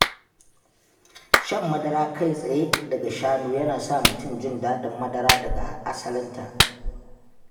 Shan madara kai tsaye daga shanu yana sa mutum jin daɗin madara daga asalinta.